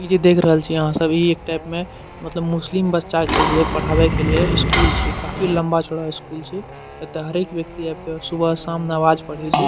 इ जे देख रहल छिये आहां सब इ एक टाइप में मतलब मुस्लिम बच्चा के लिए पढ़ावे के लिए स्कूल छिये काफी लंबा-चौड़ा स्कूल छै एता हरेक व्यक्ति आव के सुबह-शाम नमाज पढ़े छै।